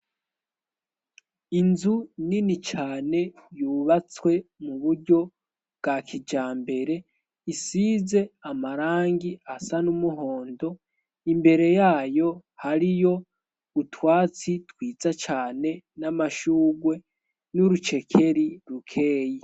Inzu nini cane yubatswe mu buryo bwa kija mbere isize amarangi asa n'umuhondo imbere yayo hariyo utwatsi twiza cane n'amashugwe n'urucekeri rukeyi.